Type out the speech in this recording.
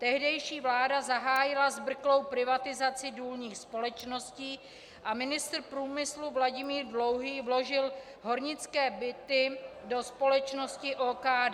Tehdejší vláda zahájila zbrklou privatizaci důlních společností a ministr průmyslu Vladimír Dlouhý vložil hornické byty do společnosti OKD.